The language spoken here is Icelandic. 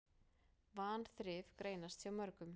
Vanþrif greinast hjá mörgum.